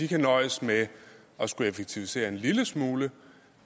kan nøjes med at skulle effektivisere en lille smule